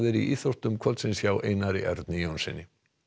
í íþróttum kvöldsins hjá Einari Erni Jónssyni